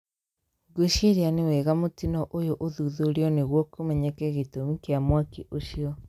Ngwĩciria nĩ wega mũtino ũyũ ũthuthurio nĩguo kũmenyeke gĩtũmi kĩa mwaki ũcio.